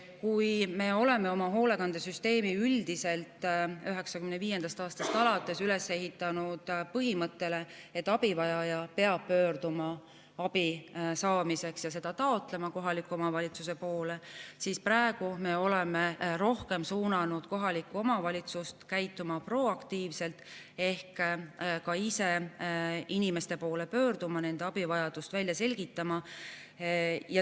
Kui me oleme oma hoolekandesüsteemi 1995. aastast alates üles ehitanud põhimõttele, et abivajaja peab ise pöörduma abi saamiseks kohaliku omavalitsuse poole ja seda sealt taotlema, siis praegu me oleme rohkem suunanud kohalikku omavalitsust käituma proaktiivselt ehk ka ise inimeste poole pöörduma ja nende abivajadust välja selgitama.